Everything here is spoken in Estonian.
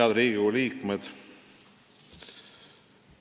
Head Riigikogu liikmed!